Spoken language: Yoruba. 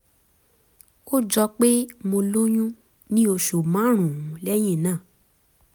ó jọ pé mo lóyún ní oṣù márùn-ún lẹ́yìn náà